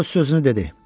Balu öz sözünü dedi.